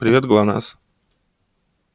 привет глонассс